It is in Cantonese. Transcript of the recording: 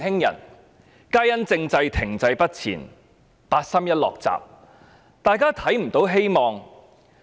由於政制停滯不前、八三一"落閘"，於是大家也看不到希望。